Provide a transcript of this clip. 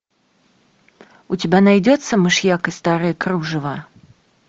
у тебя найдется мышьяк и старое кружево